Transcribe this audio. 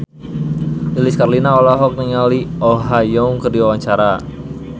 Lilis Karlina olohok ningali Oh Ha Young keur diwawancara